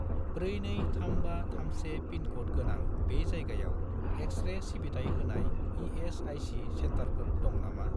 423531 pincode गोनां बे जायगायाव एक्स-रे सिबिथाय होनाय इ.एस.आइ.सि. सेन्टारफोर दं नामा?